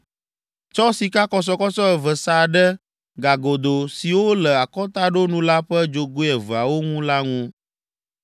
Tsɔ sikakɔsɔkɔsɔ eve sa ɖe gagodo siwo le akɔtaɖonu la ƒe dzogoe eveawo ŋu la ŋu.